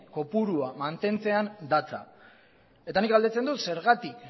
kopurua mantentzean datza eta nik galdetzen dut zergatik